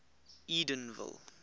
edenville